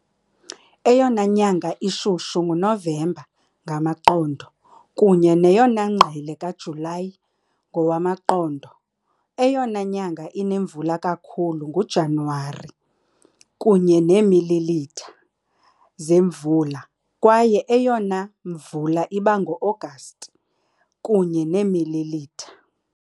Eyona nyanga ishushu ngoNovemba, ngamaqondo, kunye neyona ngqele kaJulayi, ngowamaqondo . Eyona nyanga inemvula kakhulu nguJanuwari, kunye neemililitha zemvula, kwaye eyona mvula iba ngoAgasti, kunye neemililitha .